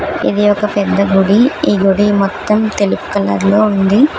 ఇది ఒక పెద్ద గుడి ఈ గుడి మొత్తం తెలుపు కలర్ లో ఉంది.